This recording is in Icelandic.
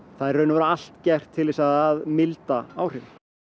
það er í raun og veru allt gert til að milda áhrifin